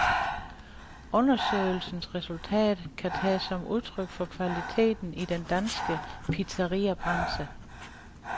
Undersøgelsens resultat kan tages som udtryk for kvaliteten i den danske pizzariabranche.